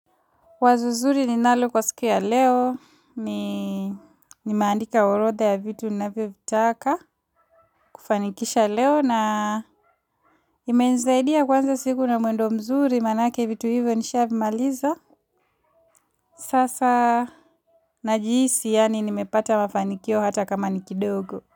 Wazo zuri ninalo kwa siku ya leo, nimeandika orodha ya vitu ninavyo vitaka kufanikisha leo na imenisaidia kuanza siku na mwendo mzuri manake vitu hivyo nisha vimaliza. Sasa najihisi yaani nimepata mafanikio hata kama ni kidogo.